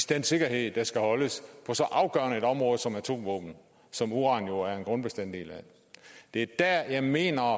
den sikkerhed der skal holdes på så afgørende et område som atomvåben som uran jo er en grundbestanddel af det er der at jeg mener